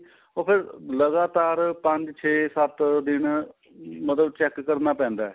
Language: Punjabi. ਉਹ ਫ਼ੇਰ ਲਗਾਤਾਰ ਪੰਜ ਛੇ ਸੱਤ ਦਿਨ ਮਤਲਬ check ਕਰਨਾ ਪੈਂਦਾ